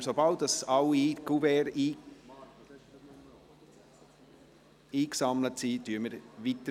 Sobald alle Kuverts eingesammelt sind, fahren wir weiter.